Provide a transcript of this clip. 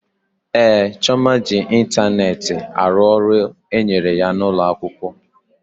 Ee, Chioma ji ịntanetị arụ ọrụ e nyere ya n'ụlọ akwụkwọ